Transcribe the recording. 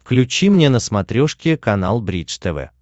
включи мне на смотрешке канал бридж тв